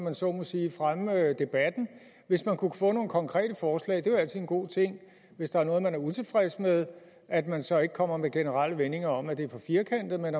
man så må sige fremme debatten hvis man kunne få nogle konkrete forslag det er jo altid en god ting hvis der er noget man er utilfreds med at man så ikke kommer med generelle vendinger om at det er for firkantet men